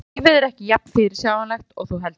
Lífið er ekki jafn fyrirsjáanlegt og þú heldur.